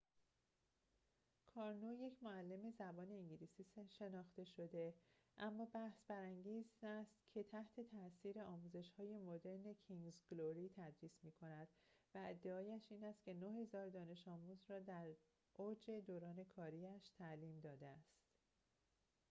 کارنو یک معلم زبان انگلیسی شناخته شده اما بحث‌برانگیز است که تحت‌تاثیر آموزش‌های مدرن کینگز گلوری تدریس می‌کند و ادعایش این است که ۹۰۰۰ دانش آموز را در اوج دوران کاری‌اش تعلیم داده است